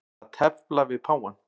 Að tefla við páfann